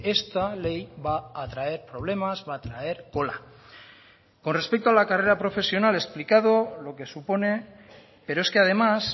esta ley va a traer problemas va a traer cola con respecto a la carrera profesional explicado lo que supone pero es que además